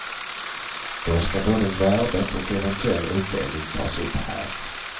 Då ska både värdet och eventuell utdelning tas upp här.